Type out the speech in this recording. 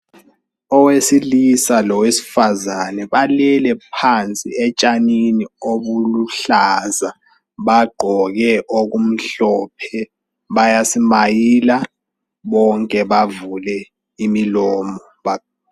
Owesilisa lowesifazane. Balele phansi etshanini obuluhlaza. Bagqoke okumhlophe Bayasimayila. Bonke bavule imilomo.